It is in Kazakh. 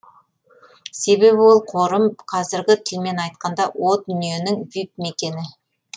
себебі ол қорым қазіргі тілмен айтқанда о дүниенің вип мекені